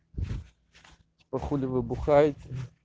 а хули вы бухаете